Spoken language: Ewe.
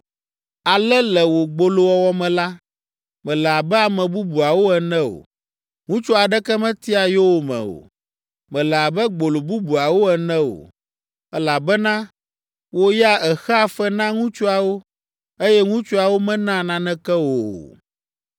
Ale le wò gbolowɔwɔ me la, mèle abe ame bubuawo ene o: ŋutsu aɖeke metia yowòme o. Mèle abe gbolo bubuawo ene o, elabena wò ya èxea fe na ŋutsuawo, eye ŋutsuawo menaa naneke wò o.